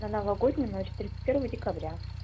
на новогоднюю ночь тридцать первого декабря